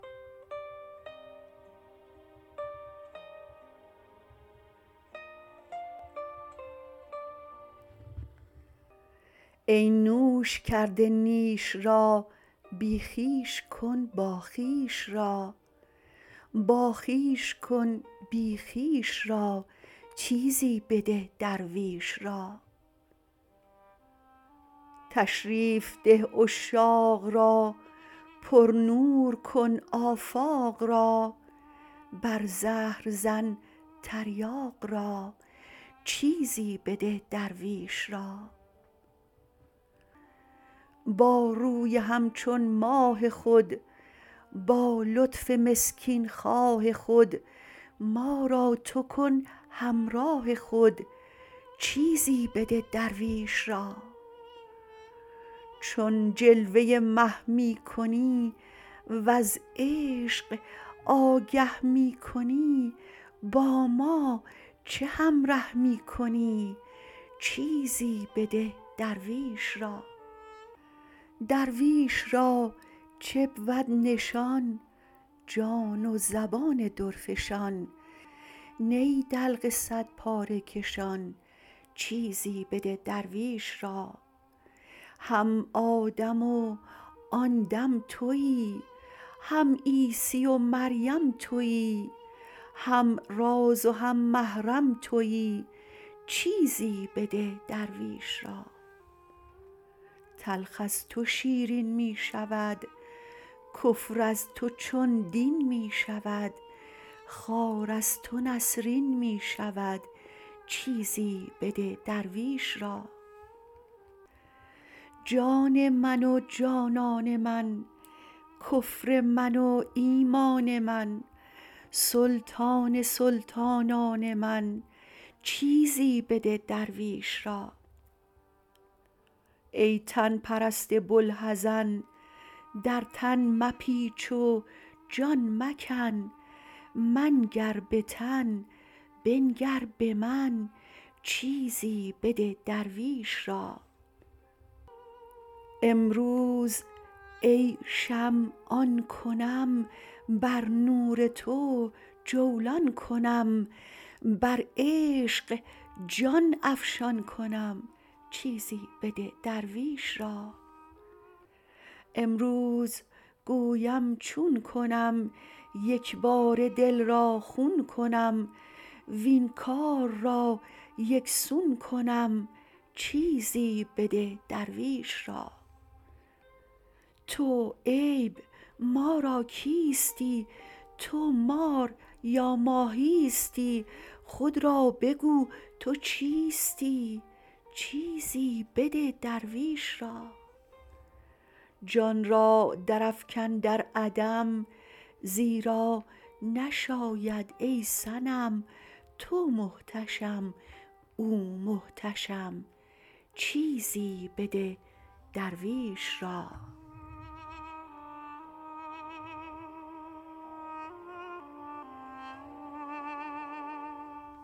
ای نوش کرده نیش را بی خویش کن باخویش را باخویش کن بی خویش را چیزی بده درویش را تشریف ده عشاق را پرنور کن آفاق را بر زهر زن تریاق را چیزی بده درویش را با روی همچون ماه خود با لطف مسکین خواه خود ما را تو کن همراه خود چیزی بده درویش را چون جلوه مه می کنی وز عشق آگه می کنی با ما چه همره می کنی چیزی بده درویش را درویش را چه بود نشان جان و زبان درفشان نی دلق صدپاره کشان چیزی بده درویش را هم آدم و آن دم توی هم عیسی و مریم توی هم راز و هم محرم توی چیزی بده درویش را تلخ از تو شیرین می شود کفر از تو چون دین می شود خار از تو نسرین می شود چیزی بده درویش را جان من و جانان من کفر من و ایمان من سلطان سلطانان من چیزی بده درویش را ای تن پرست بوالحزن در تن مپیچ و جان مکن منگر به تن بنگر به من چیزی بده درویش را امروز ای شمع آن کنم بر نور تو جولان کنم بر عشق جان افشان کنم چیزی بده درویش را امروز گویم چون کنم یک باره دل را خون کنم وین کار را یک سون کنم چیزی بده درویش را تو عیب ما را کیستی تو مار یا ماهیستی خود را بگو تو چیستی چیزی بده درویش را جان را درافکن در عدم زیرا نشاید ای صنم تو محتشم او محتشم چیزی بده درویش را